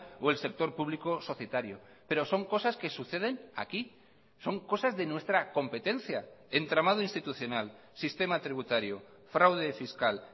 o el sector público societario pero son cosas que suceden aquí son cosas de nuestra competencia entramado institucional sistema tributario fraude fiscal